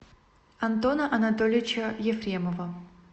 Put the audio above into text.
антона анатольевича ефремова